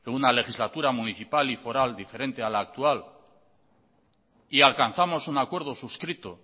una legislatura municipal y foral diferente a la actual y alcanzamos un acuerdo suscrito